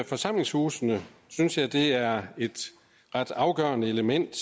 forsamlingshusene synes jeg at det er et ret afgørende element